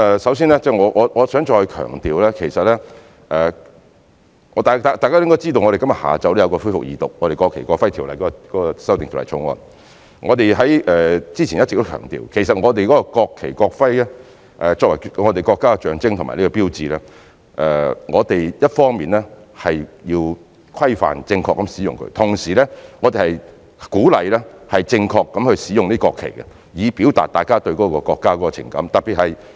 首先，我想再強調，大家應該知道，今天下午我們的《條例草案》會恢復二讀，我們之前一直強調，其實國旗及國徽作為國家象徵和標誌，我們一方面要對它們的正確使用作出規範，同時亦鼓勵市民正確地使用國旗，以讓大家表達對國家的情感。